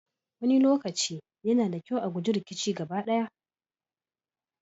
Wani lokaci, yana da kyau a guji rikici gaba ɗaya.